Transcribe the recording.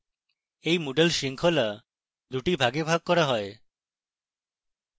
এই moodle শৃঙ্খলা দুটি ভাগে ভাগ করা হয়